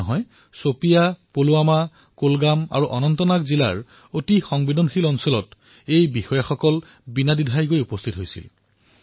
এয়াই নহয় শোপিয়াং পুলৱামা কুলগাম আৰু অনন্তনাগৰ দৰে সংবেদনশীল জিলাতো এওঁলোকে নিৰ্ভয়ে উপস্থিত হৈছিল